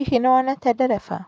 Hihi nĩ wonete ndereba?